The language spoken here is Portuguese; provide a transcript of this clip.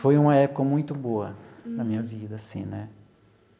Foi uma época muito boa na minha vida, assim, né?